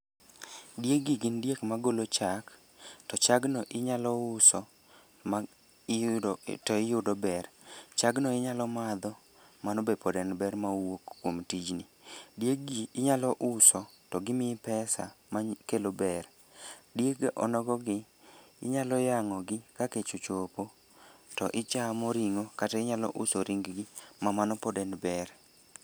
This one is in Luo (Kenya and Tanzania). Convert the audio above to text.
Dieg gi gin diek magolo chak. To chagno inyalo uso ma iyudo, to iyudo ber. Chagno inyalo madho, mano be pod en ber ma wuok kuom tijni. Dieg gi inyalo uso to gimii pesa makelo ber. Dieg onogo gi inyalo yangó gi ka kech ochop to ichamo ringó, kata inyalo uso ringgi ma mano pod en ber.